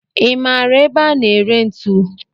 I maara ebe a na-ere ntu?